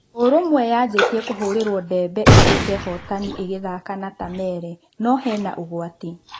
ũrũmwe yanjitie na kũhũrĩrwo ndebe ĩtũĩke hootani ĩgĩthaka na Tamere, no-hena ũgwati.